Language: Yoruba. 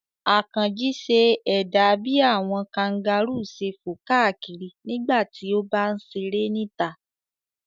Àkànjí ṣe ẹ̀dà bí àwọn kangaru ṣe fò káàkiri nígbà tí ó bá ń ṣeré níta.